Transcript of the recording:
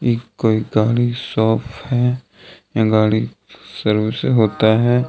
ई कोई गाड़ी शॉप हैं यहां गाड़ी सर्विस होता हैं।